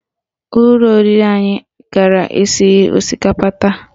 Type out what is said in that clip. Ụlọ oriri anyị gara esighị osikapa taa